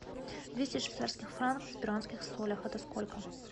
двести швейцарских франков в перуанских солях это сколько